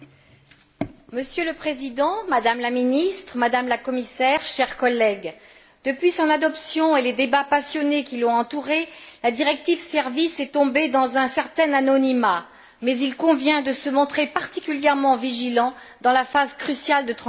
Monsieur le Président, Madame la Ministre, Madame la Commissaire, chers collègues, depuis son adoption et les débats passionnés qui l'ont entourée, la directive Services est tombée dans un certain anonymat, mais il convient de se montrer particulièrement vigilant dans la phase cruciale de sa transposition.